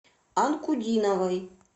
анкудиновой